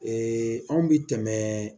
Ee anw bi tɛmɛ